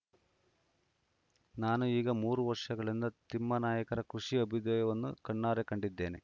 ನಾನು ಈಗ ಮೂರುವರ್ಷಗಳಿಂದ ತಿಮ್ಮಾನಾಯಕರ ಕೃಷಿ ಅಭ್ಯುದಯವನ್ನು ಕಣ್ಣಾರೆ ಕಂಡಿದ್ದೇನೆ